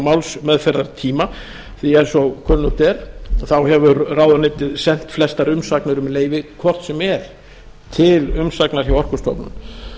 málsmeðferðartíma því eins og kunnugt er þá hefur ráðuneytið sent flestar umsagnir um leyfi hvort sem er til umsagnar hjá orkustofnun